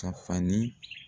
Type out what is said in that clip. Ka fani.